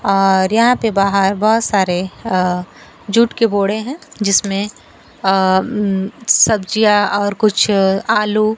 और यहां पे बाहर बहोत सारे अ जूट के बोरे हैं जिसमें अ अं सब्जियों और कुछ आलू--